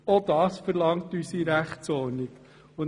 Auch dies verlangt unsere Rechtsordnung.